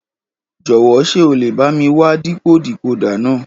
Jọ̀wọ́ ṣé o lè bá mi wá dìkó decoder náà?